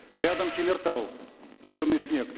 рядом темиртау черный снег